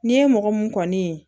N'i ye mɔgɔ mun kɔni ye